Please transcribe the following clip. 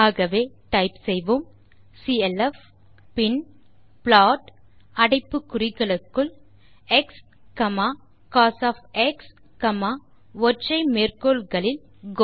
ஆகவே டைப் செய்வோம் clf பின் ப்ளாட் அடைப்பு குறிகளுக்குள் xகோஸ் ஒற்றை மேற்கோள் குறிகளுக்குள் கோ